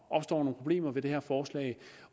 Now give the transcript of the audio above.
opstår nogle problemer med det her forslag